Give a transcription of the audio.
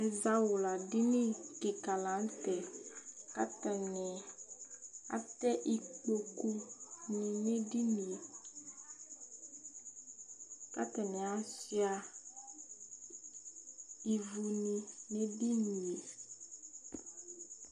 Izawla dìní kìka la ntɛ Atani atɛ ikpoku lɛ nʋ ɛdiní ye kʋ atani asʋia ívu ni nʋ ɛdiní ye